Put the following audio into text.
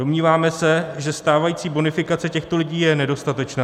Domníváme se, že stávající bonifikace těchto lidí je nedostatečná.